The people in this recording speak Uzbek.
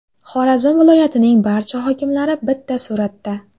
Xorazm viloyatining barcha hokimlari bitta suratda.